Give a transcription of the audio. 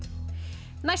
næst